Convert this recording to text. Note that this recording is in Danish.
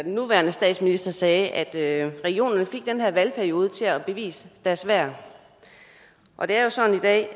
nuværende statsminister sagde at regionerne fik den her valgperiode til at bevise deres værd det er jo sådan i dag